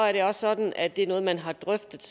er det også sådan at det er noget man har drøftet